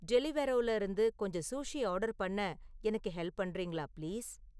டெலிவெரோல இருந்து கொஞ்சம் sushi order பண்ண எனக்கு ஹெல்ப் பண்றீங்களா பிளீஸ்